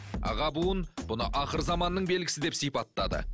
аға буын бұны ақырзаманның белгісі деп сипаттады